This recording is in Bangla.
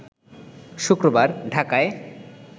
শুক্রবার ঢাকায়